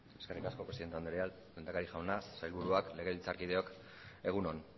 eskerrik asko presidente andrea lehendakari jauna sailburuak legebiltzarkideok egun on